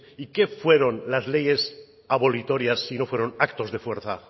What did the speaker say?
y qué fueron las leyes abolitorias si no fueron actos de fuerza